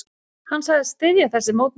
Hann sagðist styðja þessi mótmæli.